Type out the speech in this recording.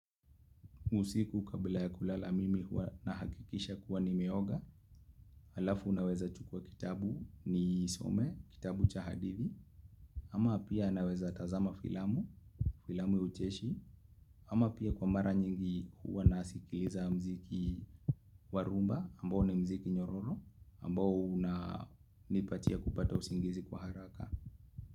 Usiku kabla ya kulala mimi huwa nahakikisha kuwa nimeoga. Alafu unaweza chukuwa kitabu niisome, kitabu cha hadithi. Ama pia naweza tazama filamu, filamu ya ucheshi. Ama pia kwa mara nyingi huwa nasikiliza mziki wa rumba ambao ni mziki nyororo ambao unanipatia kupata usingizi kwa haraka.